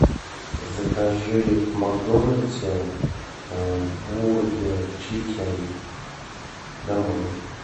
закажи в макдональдсе бургер чикен домой